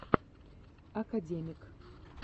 академик